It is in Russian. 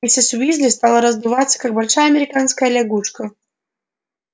миссис уизли стала раздуваться как большая американская лягушка